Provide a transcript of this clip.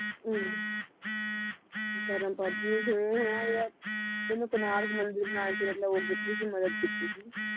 ਅਹ ਧਰਮ ਪਧ ਇਹਨੂੰ ਕੁਨਾਰ ਮੰਦਿਰ ਬਣਾਉਣ ਚ ਮਤਲਬ ਉਹ ਕੀਤੀ ਸੀ ਮਦਦ ਕੀਤੀ ਸੀ